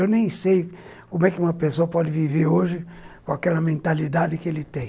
Eu nem sei como é que uma pessoa pode viver hoje com aquela mentalidade que ele tem.